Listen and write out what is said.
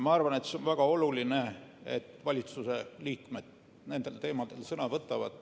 Minu arvates on väga oluline, et valitsuse liikmed nendel teemadel sõna võtavad.